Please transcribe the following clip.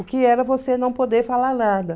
O que era você não poder falar nada?